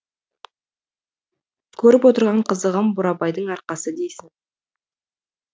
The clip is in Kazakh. көріп отырған қызығым бурабайдың арқасы дейсің